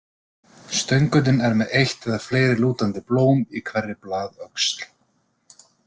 Stöngullinn er með eitt eða fleiri lútandi blóm í hverri blaðöxl.